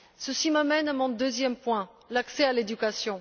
Ceci m'amène à mon deuxième point, l'accès à l'éducation.